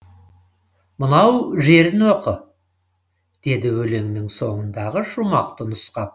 мынау жерін оқы деді өлеңнің соңындағы шумақты нұсқап